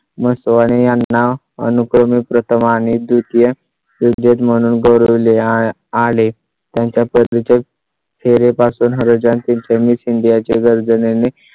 असतो आणि यांना अनुक्रमे प्रथम आणि द्वितीय एक देश म्हणून गौरवले आले आले त्यांच्या पती चे फेरे पासून व्हर्जन तील चे miss india चे गर्जने ने